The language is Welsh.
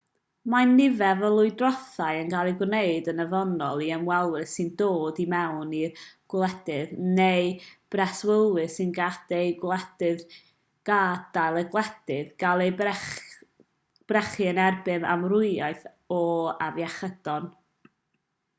mae nifer o lywodraethau yn ei gwneud yn ofynnol i ymwelwyr sy'n dod i mewn i'w gwledydd neu breswylwyr sy'n gadael eu gwledydd gael eu brechu yn erbyn amrywiaeth o afiechydon